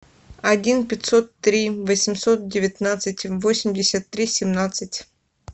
один пятьсот три восемьсот девятнадцать восемьдесят три семнадцать